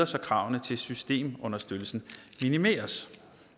så kravene til systemunderstøttelsen minimeres